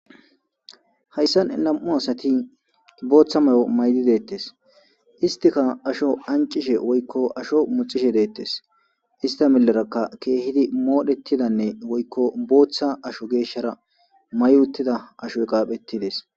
Hayssan nam'u asati booththa may'o maydi deettes istika asho ancishe woykko asho muxishe deettes ista melerakka keehidi moodhetidanne woykko booththa asho geeshshara may uttida asho gaaphettides.